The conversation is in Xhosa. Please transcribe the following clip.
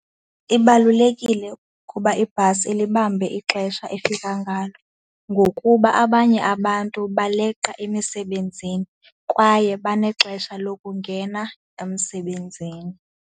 Ibalulekile ukuba ibhasi ilibambe ixesha efika ngalo ngokuba abanye abantu baleqa emisebenzini kwaye banexesha lokungena emsebenzini.